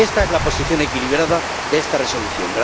Esta es la posición equilibrada de esta Resolución.